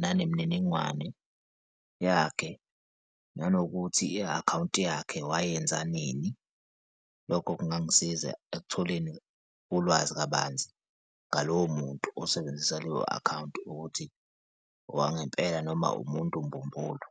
nanemniningwane yakhe, nanokuthi i-akhawunti yakhe wayenza nini? Lokho kungangisiza ekutholeni ulwazi kabanzi ngalowo muntu osebenzisa leyo-akhawunti ukuthi owangempela, noma umuntu, mbumbulu.